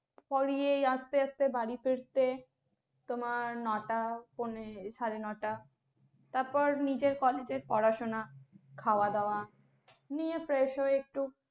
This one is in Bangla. পড়িয়ে আসতে আসতে বাড়ি ফিরতে তোমার নটা পোনে, সাড়ে নয়টা তারপর নিজের college র পড়াশোনা, খাওয়া দাওয়া নিয়ে fresh হয়ে একটু